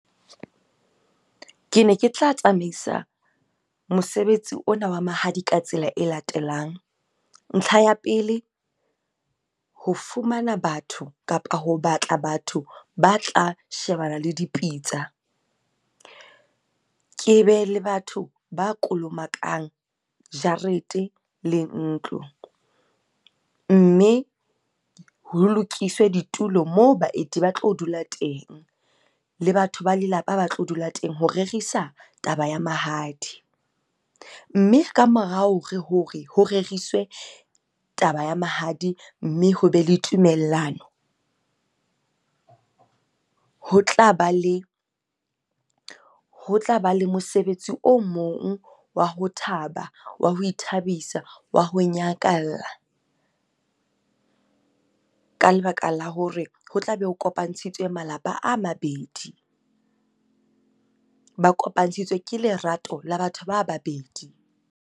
Ke ne ke tla tsamaisa mosebetsi ona wa mahadi ka tsela e latelang. Ntlha ya pele, ho fumana batho kapa ho batla batho ba tla shebana le dipitsa. Ke be le batho ba kolomakang jarete le ntlo. Mme ho lokiswe ditulo moo baeti ba tlo dula teng, le batho ba lelapa ba tlo dula teng ho rerisa taba ya mahadi. Mme ka morao hore ho reriswe taba ya mahadi, mme ho be le tumellano. Ho tla ba le mosebetsi o mong wa ho thaba, wa ho ithabisa, wa ho nyakalla. Ka lebaka la hore ho tlabe ho kopantshitswe malapa a mabedi. Ba kopantshitswe ke lerato la batho ba babedi.